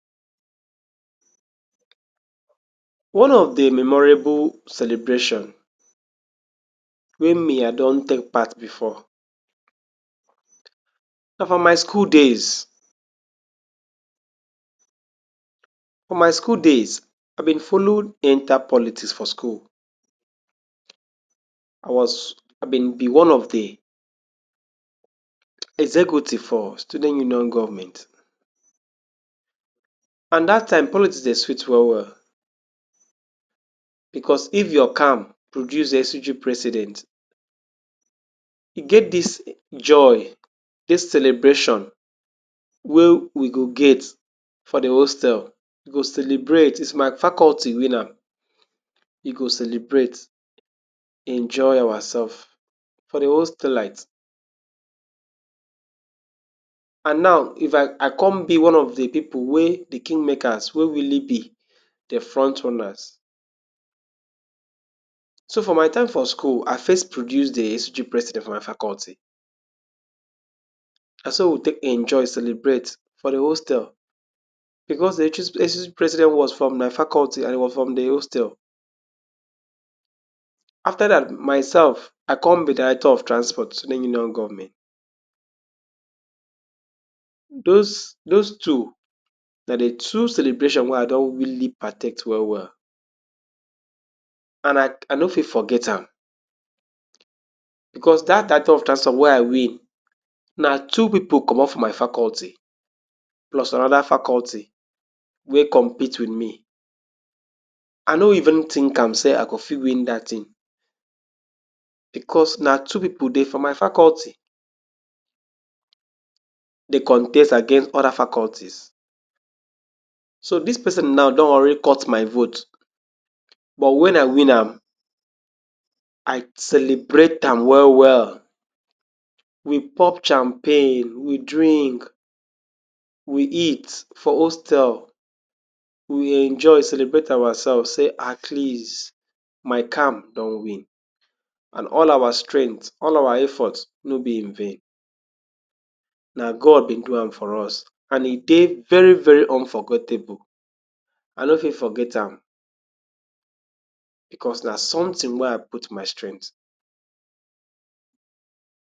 One of de memorable celebration wey me I don take part before na for my school days. For my school days I be follow enter politics for school I was, I be be one of de executive for student union government and dat time politics dey sweet well well because if your camp produce SUG president e get dis joy, dis celebration wey we go get for de hostel, we go celebrate if my faculty win am we go celebrate enjoy ourselves for de hostelite and now, if I come be one of de pipu wey be king makers wey really be de front runners so for my time for school I first produce de SUG president for my faculty na so we take enjoy celebrate for de hostel because um de SUG president was from my faculty and e was from de hostel after dat myself I come be director of transport student union government those, those two na de two celebration wey I don really partake well well and I, I nor fit forget am because dat director of transport wey I win na two pipu commot from my faculty plus another faculty wey compete with me I nor even think am sey I go fit win dat thing because na two pipu dey for my faculty dey contest against other faculties so dis person now don already cut my vote but when I win am I celebrate am well well we pop champagne we drink we eat for hostel we enjoy celebrate ourselves say at least my camp don win and all our strength all our effort nor be in vain na God be do am for us and e dey very very unforgottable I nor fit forget am because na something wey I put my strength.